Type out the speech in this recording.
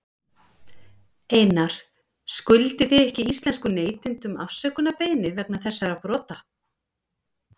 Einar, skuldið þið ekki íslenskum neytendum afsökunarbeiðni vegna þessara brota?